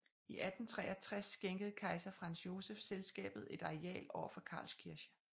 I 1863 skænkede kejser Franz Josef selskabet et areal over for Karlskirche